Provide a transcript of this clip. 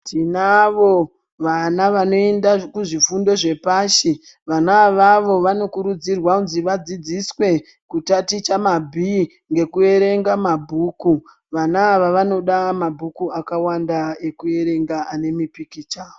Tinavo vana vanoenda kuzvifundo zvepashi vana avavo vanokurudzirwa kunzi vadzidziswe kutaticha mabhii ngokuverenga mabhuku. Vana ava vanoda mabhuku akawanda ekuverenga ane mipikicha.